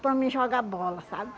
para mim jogar bola, sabe?